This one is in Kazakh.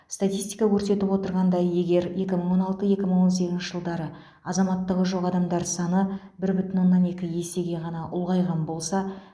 статистика көрсетіп отырғандай егер екі мың он алты екі мың он сегізінші жылдары азаматтығы жоқ адамдар саны бір бүтін оннан екі есеге ғана ұлғайған болса